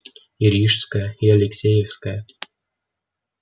и рижская и алексеевская